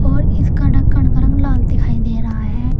और इसका ढक्कन का रंग लाल दिखाई दे रहा है।